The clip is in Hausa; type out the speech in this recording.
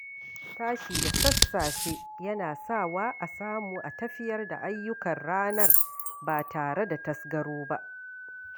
Tashi da sassafe yana sa wa a samu a tafiyar da ayyukan ranar ba tare da tazgaro ba